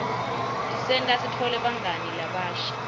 tisenta sitfole bangani labasha